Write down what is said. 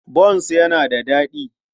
Bons yana da daɗi.